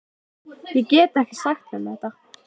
Ég get ekki sagt þeim þetta.